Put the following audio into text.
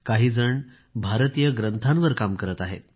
काहीजण भारतीय ग्रंथांवर काम करत आहेत